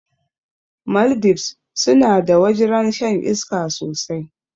Maldives sunada wajrn shan iska sosai